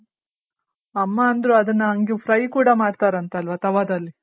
ಅಮ್ಮ ಅಂದ್ರು ಅದುನ್ನ ಹಂಗೆ fry ಕೂಡ ಮಾಡ್ತಾರಂತಲ್ವ ತವಾದಲ್ಲಿ